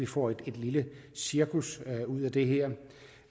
får et lille cirkus ud af det her